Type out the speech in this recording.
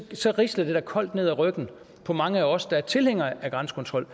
så risler det da koldt ned ad ryggen på mange af os der er tilhængere af grænsekontrol